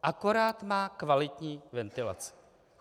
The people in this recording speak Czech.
Akorát má kvalitní ventilaci.